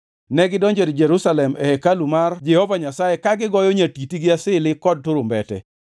Negidonjo Jerusalem e hekalu mar Jehova Nyasaye ka gigoyo nyatiti gi asili kod turumbete.